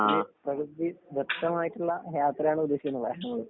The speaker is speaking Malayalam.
ഒരു പ്രകൃതി ദത്തമായിട്ടുള്ള യാത്രയാണുദ്ദേശിക്കുന്നത് നമ്മള്.